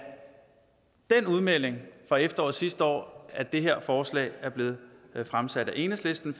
den udmelding fra efteråret sidste år at det her forslag er blevet fremsat af enhedslisten